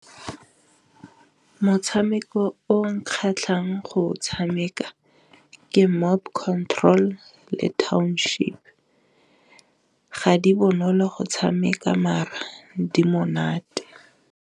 Motshameko o nkgatlhe jang go tshameka ke Mob Control le Township ga di bonolo go tshameka mara di monate.